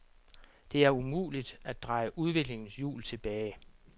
Det er umuligt at dreje udviklingens hjul tilbage.